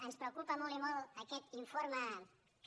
ens preocupa molt i molt aquest informe que